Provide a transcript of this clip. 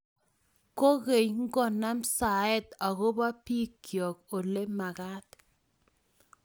kogeny ngonam saet agoba bigoyey olemagat